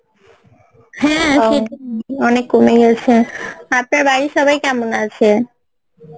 হ্যাঁ অনেক কমে গেসে আপনার বাড়ির সবাই কেমন আসে?